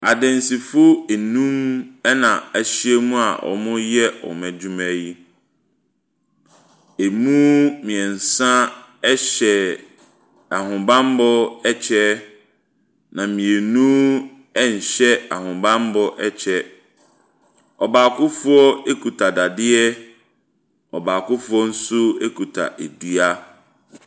Adansifo num na ahyaiam a wɔreyɛ wɔn adwuma yi. Emu mmiɛnsa ɛhyɛ ahobanmmɔ ɛkyɛ. Na mmienu nhyɛ ahobanmmɔ kyɛ. Ɔbaakofoɔ kuta dadeɛ. Ɔbaakofoɔ nso kuta dua.